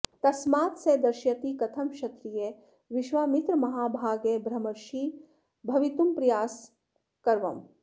तस्मात् सः दर्शयति कथं क्षत्रीयः विश्वामित्रममहाभागः ब्रह्मर्षिः भवितुं प्रयासमकरवम्